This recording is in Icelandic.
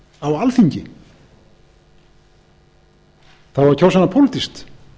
á alþingi það á að kjósa hana pólitískt